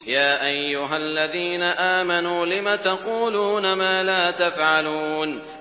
يَا أَيُّهَا الَّذِينَ آمَنُوا لِمَ تَقُولُونَ مَا لَا تَفْعَلُونَ